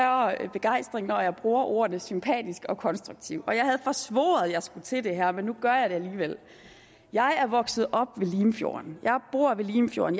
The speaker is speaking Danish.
begejstring når jeg bruger ordene sympatisk og konstruktivt og jeg havde forsvoret at jeg skulle til det her men nu gør jeg det alligevel jeg er vokset op ved limfjorden jeg bor ved limfjorden